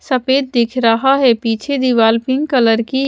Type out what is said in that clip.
सफेद दिख रहा है पीछे दीवार पिंक कलर की--